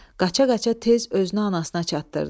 Qaça-qaça tez özünü anasına çatdırdı.